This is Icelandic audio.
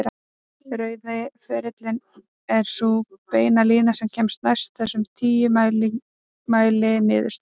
Rauði ferillinn er sú beina lína sem kemst næst þessum tíu mæliniðurstöðum.